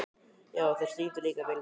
Já, og þeir syngja líka vel í dag.